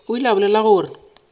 o ile a bolela gore